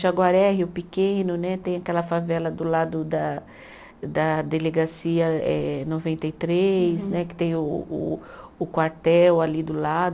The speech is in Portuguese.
Jaguaré, Rio Pequeno né, tem aquela favela do lado da da Delegacia eh noventa e três né, que tem o o o quartel ali do lado.